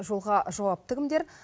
жолға жауапты кімдер